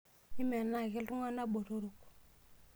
Mimenaa ake iltunganak botorok.